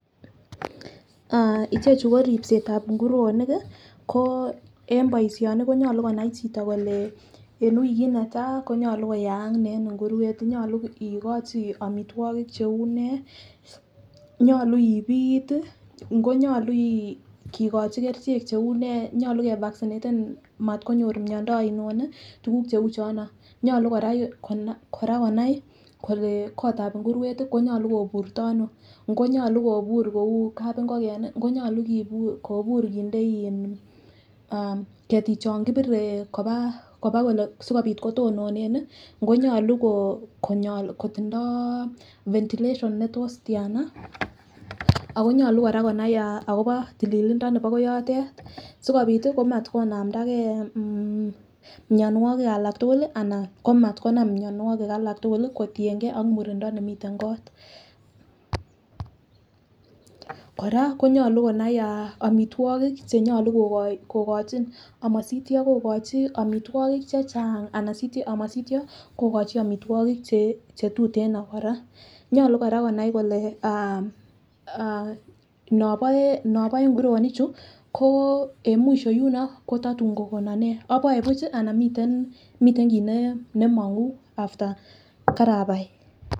Aah ichechu ko ripsetab inguronik kii ko en boishoni konyolu konai chito kole en wikit netai konyolu koyaak nee en inguruet, nyolu ikochi omitwokik cheu nee , ngo nyolu ipit tii, ngo nyolu kikochi kerichek cheu nee , nyolu ke vaccinaten motkonyor miondo oino nii tukuk cheu chono. Nyolu Koraa konai kole kotabi inguruet tii konyolu koburto Ono, ngo nyolu kobur kou kapimgoken nii, ngo nyolu kobur kobur kinde in ah ketik chon kipire koba kole sikopit kotononen nii, ngo nyolu konyol kotindo ventilation netos tiana, ako nyolu Koraa konai akobo tililindo nebo koyotet. Sikopit tii komat konamdagee mmh mionwokik alak tukuk lii anan ko matkonam mionwokik alak tukuk lii kotiyengee ak murindo nimiten kot. Koraa konyolu konai omitwokik chenyolu kokochin amosityo kokochi omitwokik che Chang anan amosityo kokochi omitwokik chetuteno koraa. Nyolu Koraa konai kole aah noboe noboe nguronik chuu ko en mwisho yuno ko totun kokonon nee aboe buchi anan miten kit ne nemongu after kerabai.